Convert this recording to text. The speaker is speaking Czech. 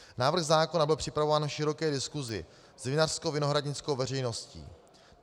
Návrh zákona byl připravován po široké diskusi s vinařskovinohradnickou veřejností.